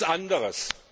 Nichts anderes!